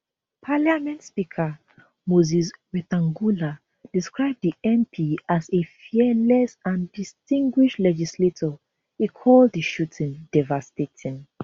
parliament speaker moses wetangula describe di mp as a fearless and distinguished legislator e call di shooting devastating